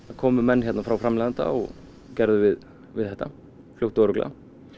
komu menn hérna frá framleiðanda og gerðu við við þetta fljótt og örugglega